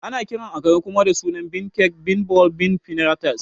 Ana kiran Akara kuma da sunan Bean Cakes, Bean Balls, Bean Fritas